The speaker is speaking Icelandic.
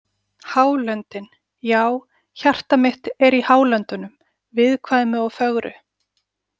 Hálöndin Já, hjarta mitt er í Hálöndunum viðkvæmu og fögru.